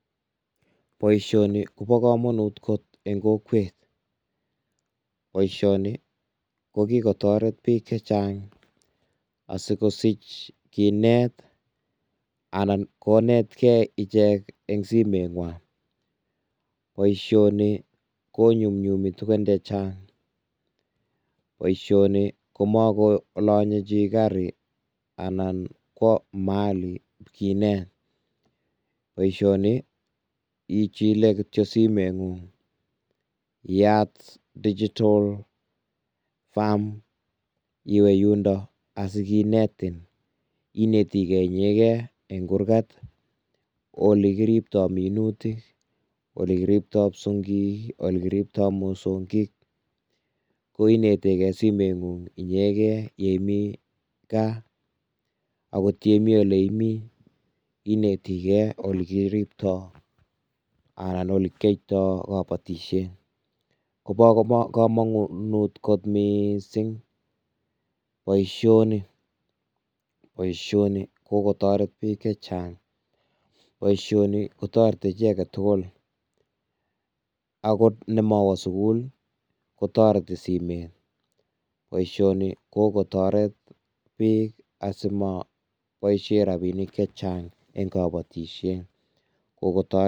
Boisioni kobo kamanut kot eng kokwet, boisioni ko kikotoret biik che chang asikosich kinet anan konet kei ijek eng simeng'wang. Boisioni konyunyum tugen che chang. Boisioni ko makulonye chi gari anan kowa mahali kinet. Boisioni ichile kityo simeng'ung iyat Digital Farm iwe yundo asikinetin, inetikei inyeke eng kurkat ole kiribtoi minutik, ole kiribtoi kipsongik, ole kiribtoi mosongik, ko inetegei eng simeng'ung inyegei imi gaa. akot ye imi ole i mii inetigei ole kiribtoi anan ole kiotoi kabotisie, kobo kamanut kot mising boisioni, boisioni kokotoret biik che chang. Boisioni ko toreti chi age tugul akot ne mawo sukul ko toreti simet. Boisioni ko kotoret biik asimaboisie rabinik che chang eng kabatisiet kokotoret.